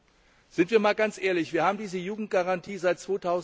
Seien wir einmal ganz ehrlich Wir haben diese Jugendgarantie seit